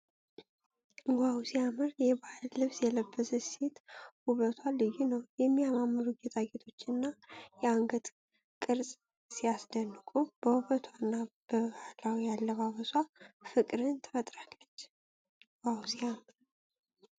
ዋው ሲያምር! የባህል ልብስ የለበሰች ሴት ውበቷ ልዩ ነው። የሚያማምሩ ጌጣጌጦችና የአንገት ቅረፃ ሲያስደንቁ! በውበቷና በባህላዊ አለባበሷ ፍቅርን ትፈጥራለች። ዋው ሲያምር!